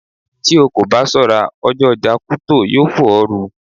Tí o kò bá ṣọ́ra, ọjọ́ ọjà Kuto yó fò ọ́ ru.